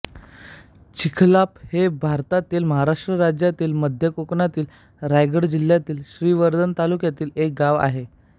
चिखलाप हे भारतातील महाराष्ट्र राज्यातील मध्य कोकणातील रायगड जिल्ह्यातील श्रीवर्धन तालुक्यातील एक गाव आहे